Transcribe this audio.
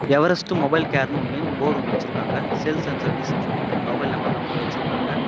Everest mobile கேர்ன்னு ஒன்னு board ஒன்னு வெச்சிருக்காங்க சேல்ஸ் அண்ட் சர்வீஸ்னு சொல்லிட்டு மொபைல் நம்பர் எல்லாம் போட்டு வெச்சிருக்காங்க.